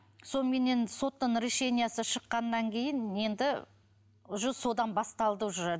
соныменен соттың решениесі шыққаннан кейін енді уже содан басталды уже